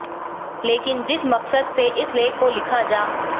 लेकिन जिस मकसद से इस लेख को लिखा जा